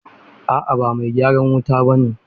A'a ba mai gyaran wuta ba ne.